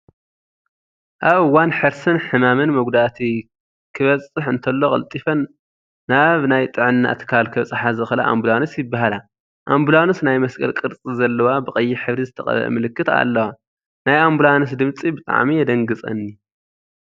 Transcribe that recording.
ኣብ እዋን ሕርስን ሕማምን፣ መጉዳአቲ ከበፀሕ እንተሎ ቀልጢፈን ናብ ናይ ጥዕና ትካል ከብፃሓ ዝክእላ ኣቡላንስ ይበሃላ። ኣቡላንስ ናይ መስቀል ቅርፂ ዘለዋ ብቀይሕ ሕብሪ ዝተቀበኤ ምልክት ኣለዋ። ናይ ኣቡላንስ ድምፂ ብጣዕሚ የደንግፀኒ።